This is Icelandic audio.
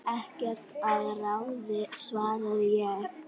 Ekkert að ráði svaraði ég.